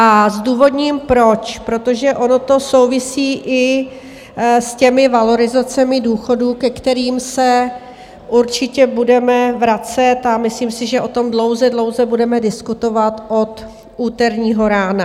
A zdůvodním proč, protože ono to souvisí i s těmi valorizacemi důchodů, ke kterým se určitě budeme vracet, a myslím si, že o tom dlouze, dlouze budeme diskutovat od úterního rána.